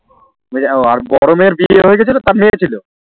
ওহ আর বড় মেয়ের নিয়ে হয়েগেছিলো তার মেয়ে ছিল